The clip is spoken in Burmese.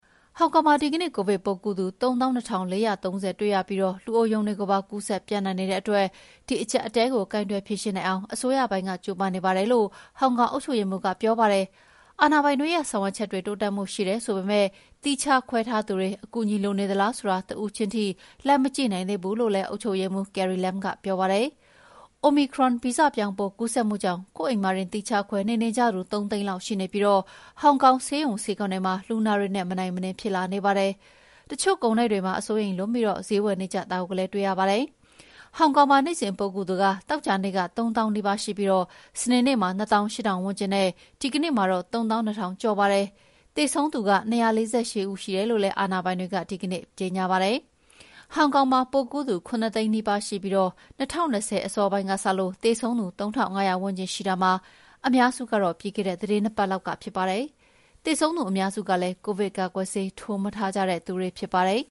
ဟောင်ကောင်မှာ ဒီကနေ့ ကိုဗစ်ပိုးကူးသူ ၃၂,၄၃၀ ဦးတွေ့ပြီး လူအိုရုံတွေကိုပါ ကူးစက်ပျံ့နှံ့နေတဲ့အတွက် ဒီအကျပ်အတည်းကို ကိုင်တွယ်ဖြေရှင်းနိုင်အောင် အစိုးရပိုင်းက ကြိုးပမ်းနေပါတယ်လို့ ဟောင်ကောင်အုပ်ချုပ်ရေးမှူးက ပြောပါတယ်။ အာဏာပိုင်တွေရဲ့ ဆောင်ရွက်ချက်တွေ တိုးတက်မှုရှိတယ် ဆိုပေမယ့် သီးခြားခွဲထားသူတွေ အကူအညီ လိုနေသလားဆိုတာ တဦးချင်းထိ လိုက်မကြည့်နိုင်သေးဘူးလို့ အုပ်ချုပ်ရေးမှူး Carrie Lam က ပြောပါတယ်။ Omicron ဗီဇပြောင်း ပိုးကူးစက်မှုကြောင့် ကိုယ့်အိမ်မှာတင် သီးခြားခွဲနေနေကြသူ ၃ သိန်းလောက်ရှိနေပြီး ဟောင်ကောင်ဆေးရုံဆေးခန်းတွေမှာ လူနာတွေနဲ့ မနိုင်မနင်း ဖြစ်လာနေပါတယ်။ တချို့ကုန်တိုက်တွေမှာ အစိုးရိမ်လွန်ပြီး ဈေးဝယ်နေကြတာကိုလည်း တွေ့ရပါတယ်။ ဟောင်ကောင်မှာ နေ့စဉ်ပိုးကူးသူ သောကြာနေ့က ၃၀,၀၀၀ နီးပါးရှိပြီး စနေနေ့မှာ ၂၈,၀၀၀ ဝန်းကျင်နဲ့ ဒီကနေ့မှာတော့ ၃၂,၀၀၀ ကျော်ရှိပါတယ်။ သေဆုံးသူက ၂၄၈ ဦး ရှိတယ်လို့လည်း အာဏာပိုင်တွေက ဒီကနေ့ ကြေညာပါတယ်။ ဟောင်ကောင်မှာ ပိုးကူးသူ ၇ သိန်းနီးပါးရှိပြီး ၂၀၂၀ ခုနှစ် အစောပိုင်းကစလို့ သေဆုံးသူ ၃,၅၀၀ ဝန်းကျင်ရှိတာမှာ အများစုက ပြီးခဲ့တဲ့ သီတင်း ၂ ပတ်လောက်က ဖြစ်ပါတယ်။ သေဆုံးသူ အများစုကလည်း ကိုဗစ်ကာကွယ်ဆေး ထိုးမထားကြတဲ့သူတွေ ဖြစ်ပါတယ်။